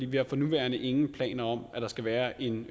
vi har for nuværende ingen planer om at der skal være en